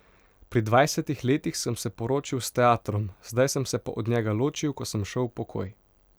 Pri dvajsetih letih sem se poročil s teatrom, zdaj sem se pa od njega ločil, ko sem šel v pokoj.